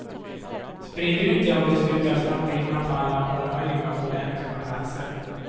Sprid ut det och det slutar snart ringa på alla omöjliga, olämpliga platser.